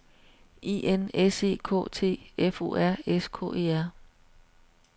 I N S E K T F O R S K E R